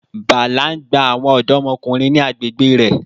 Bala n gba awọn ọdọmọkunrin ni agbegbe rẹ